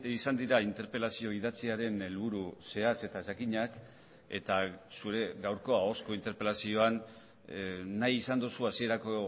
izan dira interpelazio idatziaren helburu zehatz eta jakinak eta zure gaurko ahozko interpelazioan nahi izan duzu hasierako